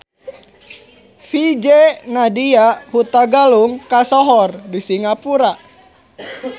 VJ Nadia Hutagalung kasohor di Singapura